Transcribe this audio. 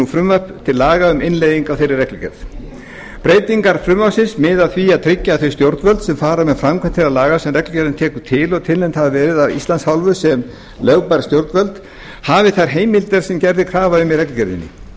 frumvarp til laga um innleiðingu á þeirri reglugerð breytingar frumvarpsins miða að því að tryggja að þau stjórnvöld sem fara með framkvæmd þeirra laga sem reglugerðin tekur til og tilnefnd hafa verið af íslands hálfu sem lögbær stjórnvöld hafi þær heimildir sem gerð er krafa um í reglugerðinni